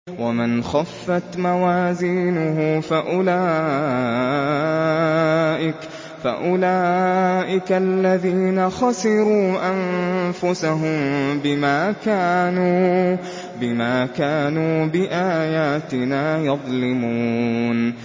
وَمَنْ خَفَّتْ مَوَازِينُهُ فَأُولَٰئِكَ الَّذِينَ خَسِرُوا أَنفُسَهُم بِمَا كَانُوا بِآيَاتِنَا يَظْلِمُونَ